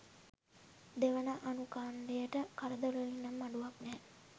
දෙවන අනුඛණ්ඩයට කරදරවලින් නම් අඩුවක් නැහැ.